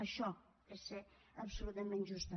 això és ser absolutament just també